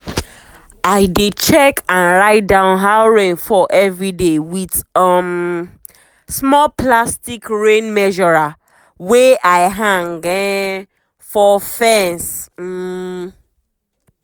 i dey check and write down how rain fall everyday with um small plastic rain measurer wey i hang um for fence. um